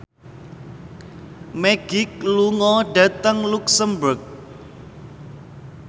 Magic lunga dhateng luxemburg